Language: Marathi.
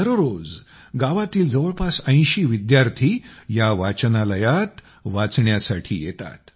दररोज गावातील जवळपास ८० विद्यार्थी या वाचनालयात वाचण्यासाठी येतात